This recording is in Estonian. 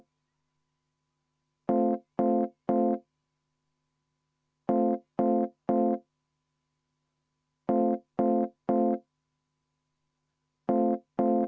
Istungi juhataja!